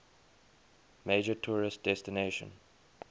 major tourist destination